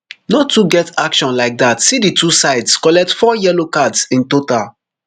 no too get action like dat see di two sides collect four yellow cards in total